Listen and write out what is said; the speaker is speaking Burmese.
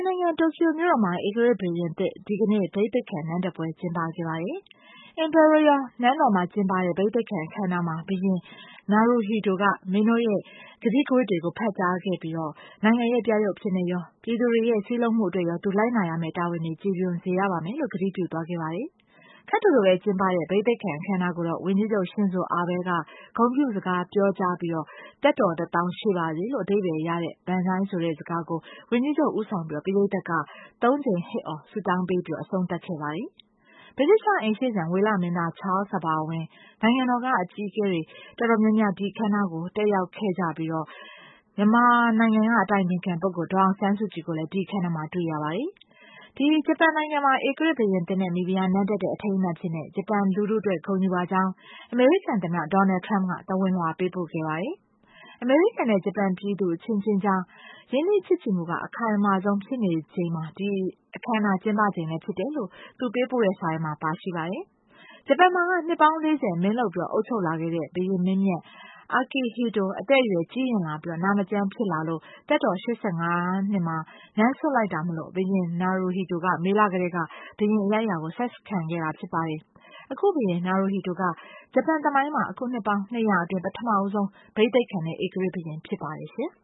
နိုင်ငံ တိုကျိုမြို့တော်မှာ ဧကရာဇ်ဘုရင်သစ် ဒီကနေ့ ဘိသိတ်ခံနန်းတက်ပွဲ ကျင်းပခဲ့ပါတယ်။ ဧကရာဇ် နန်းတော်မှာ ကျင်းပတဲ့ ဘိသိတ်ခံအခမ်းအနားမှာ ဘုရင် Naruhito က မင်းတို့ရဲ့ ကတိကဝတ်တွေကို ဖတ်ကြားခဲ့ပြီး နိုင်ငံရဲ့ ပြယုတ်အဖြစ်ရော ပြည်သူတွေရဲ့ စည်းလုံးမှုအတွက်ရော သူလိုက်နာရမယ့် တာဝန်တွေကို ကျေပွန်စေရမယ်လို့ ကတိပြုသွားခဲ့ပါတယ်။ ခပ်တိုတိုပဲ ကျင်းပခဲ့တဲ့ ဘိသိတ်ခံအခမ်အနားကို ဝန်ကြီးချုပ် Shinzo Abe က ဂုဏ်ပြုစကားပြောကြားပြီး သက်တော် တသောင်းရှည်ပါစေလို့ အဓိပ္ပာယ်ရတဲ့ Benzai ဆိုတဲ့ စကားကို ဝန်ကြီးချုပ်ဦးဆောင်ပြီး ပရိတ်သတ်က သုံး ကြိမ် ဟစ်အော် ဆုတောင်ပေးပြီး အဆုံးသတ်ခဲ့ပါတယ်။ ဗြိတိသျှအိမ်ရှေ့စံ ဝေလမင်းသား Charles အပါအဝင် နိုင်ငံတကာက အကြီးအကဲတွေ တော်တော်များများ ဒီအခမ်းအနားကို တက်ရောက်ခဲ့ကြပြီး မြန်မာနိုင်ငံက အတိုင်ပင်ခံပုဂ္ဂိုလ် ဒေါ်အောင်ဆန်းစုကြည်ကိုလည်း ဒီအခမ်းအနားမှာ တွေ့ရပါတယ်။ ဒီဂျပန်နိုင်ငံမှာ ဧကရာဇ်ဘုရင်သစ် နဲ့ မိဖုရား နန်းတက်တဲ့ အထိမ်းအမှတ်အဖြစ် ဂျပန်လူထုအတွက် ဂုဏ်ယူပါကြောင်း အမေရိကန်သမ္မတ Donald Trump က သဝဏ်လွှာပေးပို့ပါတယ်။ အမေရိကန်နဲ့ ဂျပန် ပြည်သူ အချင်းချင်းကြား ရင်းနှီးချစ်ကြည်မှုက အခိုင်မာဆုံးဖြစ်နေချိန်က ဒီအခမ်းအနား ကျင်းပချိန်လည်း ဖြစ်နေတယ်လို့လည်း သူ ပေးပို့တဲ့စာထဲမှာ ပါရှိပါတယ်။ ဂျပန်မှာက နှစ်ပေါင်း ၄၀ မင်းလုပ်အုပ်ချုပ်လာခဲ့တဲ့ ဘုရင်မင်းမြတ် Akihito အသက်အရွယ်ကြီးရင့်လာပြီး နာမကျန်း ဖြစ်လာလို့ သက်တော် ၈၅ နှစ်မှာ နန်းစွန့်လိုက်တာမို့လို့ ဘုရင် Naruhito က မေလကတည်းက ဘုရင် အရိုက်အရာ ဆက်ခံခဲ့တာဖြစ်ပါတယ်။ အခု ဘုရင် Naruhito က ဂျပန်သမိုင်းမှာ အခု နှစ်ပေါင်း ၂၀၀ အတွင်း ပထမဆုံး ဘိသိတ်ခံတဲ့ ဧကရာဇ်ဘုရင်ဖြစ်ပါတယ်ရှင်။